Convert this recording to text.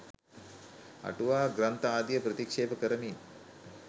අටුවා ග්‍රන්ථ ආදිය ප්‍රතික්ෂේප කරමින්